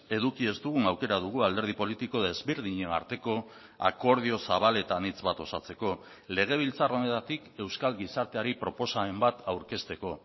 eduki ez dugun aukera dugu alderdi politiko desberdinen arteko akordio zabal eta anitz bat osatzeko legebiltzar honetatik euskal gizarteari proposamen bat aurkezteko